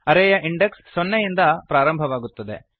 ಅರೇ ಯ ಇಂಡೆಕ್ಸ್ ಸೊನ್ನೆಯಿಂದ ಪ್ರಾರಂಭವಾಗುತ್ತದೆ